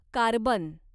carbon